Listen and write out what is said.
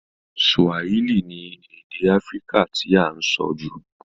Swahili ni èdè Africa ti a n so jù